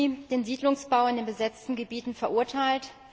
8. Juni den Siedlungsbau in den besetzten Gebieten verurteilt.